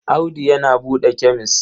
Audu yana da kemes.